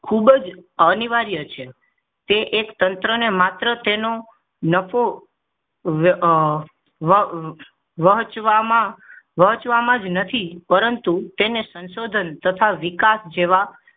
ખૂબ જ અનિવાર્ય છે તે એક તંત્ર અને માત્ર તેનો નફો વેવેચવા માં વેચવા માંજ નથી પરંતુ તેને સંશોધન તથા વિકાસ જેવા ખુબ જ અનિવાર્ય છે